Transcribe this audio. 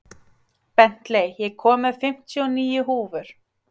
Bentley, ég kom með fimmtíu og níu húfur!